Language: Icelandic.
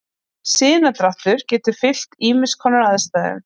Sinadráttur getur fylgt ýmiss konar aðstæðum.